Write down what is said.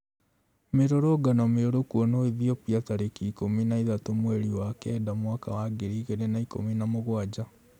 Mĩrũrũngano mĩũru kwonwo Ethiopia tariki ikũmi na ithatũ mweri wa kenda mwaka wa ngiri igĩrĩ na ikũmi na mũgwanja